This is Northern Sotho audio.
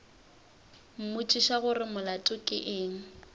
mmotšiša gore molato ke eng